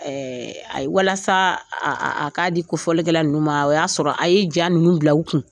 Ɛɛ a walasa aaa a k'a di ko fɔlikɛla nimu ma o y'a sɔrɔ a ye jan ninnu bila u kun